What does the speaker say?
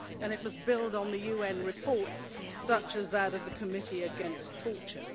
It must build on the UN reports, such as that of the Committee against Torture.